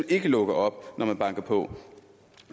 ikke lukker op når man banker på